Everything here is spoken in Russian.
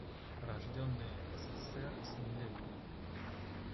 рожденные в ссср семилетние